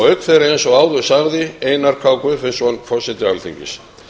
auk þeirra eins og áður sagði einar k guðfinnsson forseti alþingis